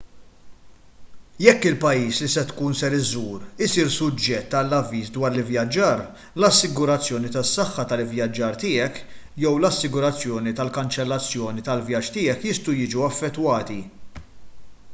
jekk il-pajjiż li tkun ser iżżur isir suġġett għal avviż dwar l-ivvjaġġar l-assigurazzjoni tas-saħħa tal-ivvjaġġar tiegħek jew l-assigurazzjoni tal-kanċellazzjoni tal-vjaġġ tiegħek jistgħu jiġu affettwati